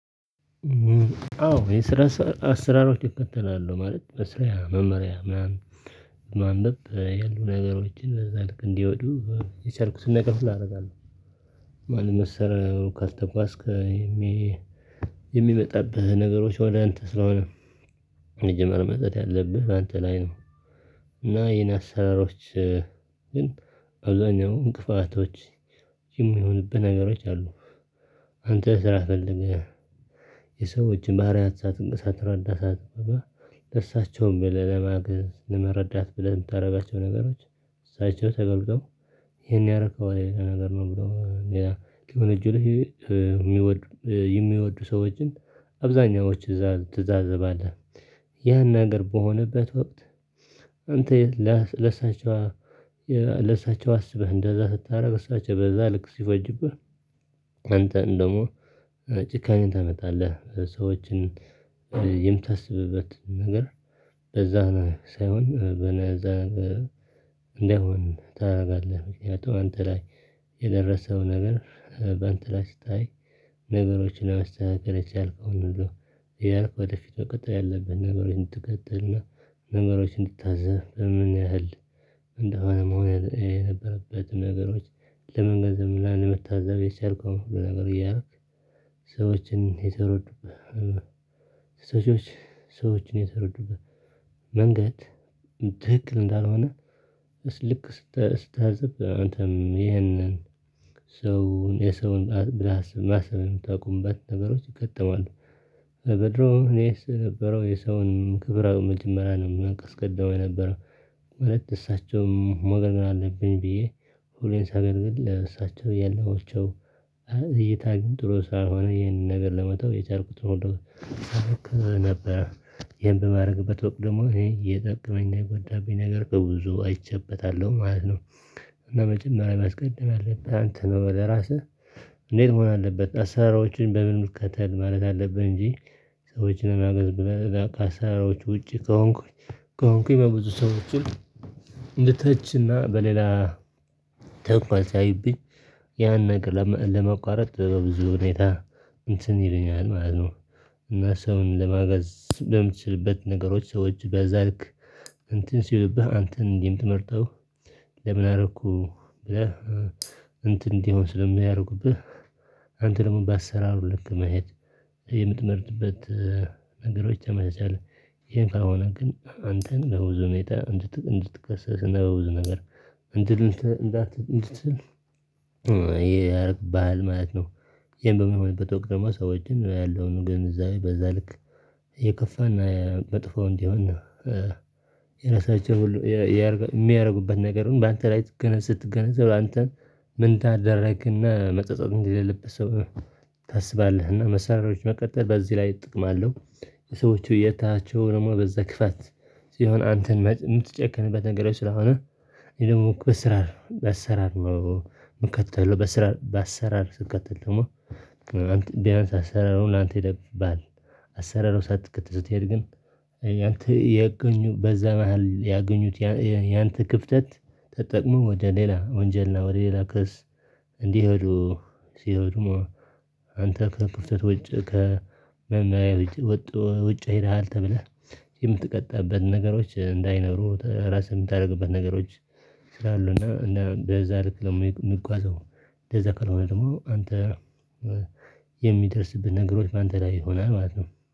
አው ይሄን ስራ ስሰራ አስራሩን እከተላለው ማለት ነው። መስሪያ መማሪያ ምናምን ምናምን ማለት ያሉ ነገሮችን በዛ ልክ እንዲወዱ የቻልኩትን ነገር ሁሉ ኣረጋለው። ማንም ምሰራው ካልተጓዝክ የሚመጣብህ ነገሮች ወደ አንተ ስለሆነ መጀመር መዝለል ያለብህ ባንተ ላይ ነው። እና የኔ አሰራሮች ግን አብዛኛው እንቅፋቶች የሚሆንብህ ነገሮች አሉ። አንተ ስራ ፈልገህ የሰዎችን ባህርያት ሳትን ሳትረዳ ሳትገባ እርሳቸውን ብለህ ለማገዝ ለመረዳት ብለህ የምታረጓቸው ነገሮች እሳቸው ተደርገው እሄን ያረከው አይደለም ነገር ነው እሚለው ሌላ ክብር እጁ ላይ የሚወድ የሚወዱ ሰዎችን አብዛኛዎች እዛ ትዛዘባለህ። ያን ነገር በሆነበት ወቅት አንተ ለሳቸው ለሳቸው አስበህ እንደዛ ስታደርግ እሳቸው በዛ ልክ ሲፈጁብህ አንተን ደሞ ጭካኔ ታመጣለህ ሰዎችን። የምታስብበት ነገር ለዛ ሳይሆን በነዛ እንዳይሆን ታደርጋለህ ምክንያቱም አንተ ላይ የደረሰው ነገር በአንተ ላይ ስታይ ነገሮችን ለማስተካከል የቻልከውን ነው። እያልክ ወደፊት መቀጠል ያለብህ ነገሩን ትቀጥልና ነገሮችን እንድታዘብ በምን ያህል እንደሆነም ሆነ የነበረበትም ነገሮች ለመንገድ ዝም ብላ ለመታዘብ የቻልከው ነገር እያረክ። ሰዎችን የተረዱብህ ሴቶች ሰዎች የተረዱበት መንገድ ትህክል እንዳልሆነ ልክ ስታዘብ አንተም ይሄንን ሰው የሰውን ብለህ ማሰብ የምታውቁበት ነገሮች ይከተማሉ። በድሮ እኔስ የነበረው የሰውን ክብር ኣው መጀመሪያ ነው ማስቀደመው የነበረው ማለት እሳቸውም ማገልገል አለብኝ ብዬ ሁሌን ሳገልግል ለእሳቸው ያልዋቸው እይታ ጥሩ ስላልሆነ ይህንን ነገር ለመተው የቻልኩት ሁሉ ከዛ ነበረ ይሄን በማረግበት ወቅት ደሞ እኔ እየጠቀመኝ እየጓዳብኝ ነገር በብዙ አይቸበታለሁ ማለት ነው። እና መጀመሪያ ማስቀደም ያለብህ አንተ ነው ወደ ራስህ እንዴት መሆን አለበት አሰራሮችን በምን ልከተል ማለት አለብን እንጂ ሰዎች ለማገዝ ብለህ ከአሰራሮች ውጪ ከሆንኩኝ ከሆንኩኝ በብዙ ሰዎችን እንደተችና በሌላ ሰውኳ ሳያይብኝ ያን ነገር ለመቋረጥ በብዙ ሁኔታ እንትን ይለኛል ማለት ነው። እና ሰውን ለማገዝ በምትችልበት ነገሮች ሰዎች በዛ ልክ እንትን ሲልብህ አንተን እንዲህ የምትመርጠው ለምን? አረኩ ብለህ እንትን እንዲሆን ስለሚያረጉብህ አንተ ደሞ በአሰራሩ ልክ መሄድ የምትመርጥበት ነገሮች ተመሳሳይ የምፈራ ከሆነ ግን አንተን በብዙ ሁኔታ እንድት እንድትከሰስ ነው ብዙ ነገር እንድል እንዳትል እንድትል ይሄ ያረግብሃል ማለት ነው። ይሄን በሚሆንበት ወቅት ደሞ ሰዎችን ያለውን ግን እዛ በዛ ልክ የከፋና መጥፎ እንዲሆን እና የራሳቸው ሁሉ እሚያረጉበት ነገርም በአንተ ላይ ገና ስትገነዘብ ላንተ ምን ታ ካደረክና መጸጸት እንዲ የሌለበት ሰው ታስባለህ እና መሰረቶች መቀጠል በዚህ ላይ ጥቅም አለው። የሰዎቹ እየተሃቸው ደሞ በዛ ክፋት ሲሆን አንተን የምትጨክንበት ነገር ስለሆነ ይሄ ደግሞ በኣሰራር በኣሰራር ነው ምከተለው በኣሰራር በአሰራር ስንከተል ደግሞ ቢያንስ አሰራሩ ነው ላንተ ይደበቅብሃል። አሰራሩ ሳትከተል ስትሄድ ግን ያንተ ያገኙ በዛ መሃል ያገኙት ያንተ ክፍተት ተጠቅሞ ወደ ሌላ ወንጀልና ወደ ሌላ ክስ እንዲሄዱ ሲሄዱ አንተ ከክፍተት ውጭ ከመመሪያ ውጭ ወጥቶ ውጭ ሄደሃል ተብለህ የምትቀጣበትን ነገሮች እንዳይኖሩ ራስህን የምታደርግበት ነገሮች ስላሉ እና እና በዛ ልክ ደግሞ የምጓዘው እንደዛ ከሆነ ደሞ አንተ የሚደርስብህ ነገሮች አንተ ላይ ይሆናል ማለት ነው